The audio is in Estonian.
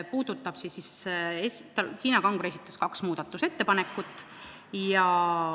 Tiina Kangro esitas kaks muudatusettepanekut.